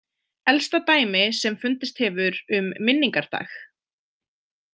Elsta dæmi sem fundist hefur um minningardag.